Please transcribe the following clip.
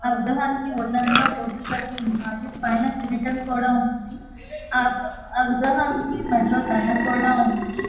ఆ విగ్రహానికి ఒళ్ళంతా బొట్లు పెట్టి ఉన్నారు పైన కిరీటం కూడా ఉంది ఆ విగ్రహానికి మెడలో దండ కూడా ఉంది.